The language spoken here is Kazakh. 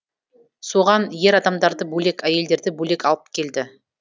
соған ер адамдарды бөлек әйелдерді бөлек алып келді